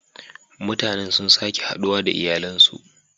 Mutanen sun sake haduwa da iyalansu.